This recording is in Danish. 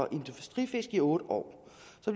industrifisk i otte år